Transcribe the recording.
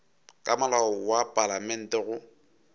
ka molao wa palamente go